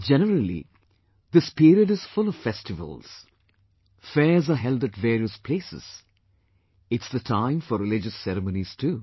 Generally, this period is full of festivals; fairs are held at various places; it's the time for religious ceremonies too